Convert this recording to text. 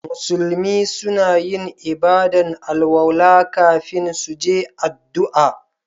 Musulmi suna yin ibada'n alwala kafin su je addu'a.